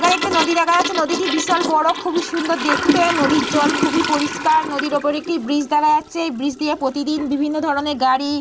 এইখানে একটি নদী দেখা যাচ্ছে। নদীটি বিশাল বড়। নদীটি খুবই সুন্দর দেখতে। নদীর জল খুবই পরিষ্কার। নদীর ওপর একটি ব্রিজ দেখা যাচ্ছে। এই ব্রিজ দিয়ে প্রতিদিন বিভিন্ন ধরণের গাড়ি --